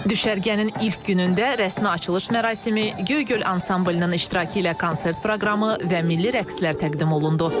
Düşərgənin ilk günündə rəsmi açılış mərasimi, Göygöl ansamblının iştirakı ilə konsert proqramı və milli rəqslər təqdim olundu.